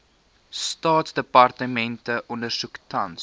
staatsdepartemente ondersoek tans